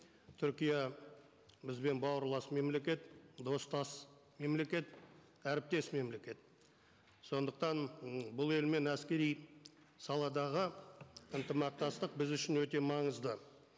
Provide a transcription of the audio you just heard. түркия бізбен бауырлас мемлекет достас мемлекет әріптес мемлекет сондықтан м бұл елмен әскери саладағы ынтымақтастық біз үшін өте маңызды